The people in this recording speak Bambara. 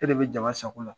E de bɛ jama sago la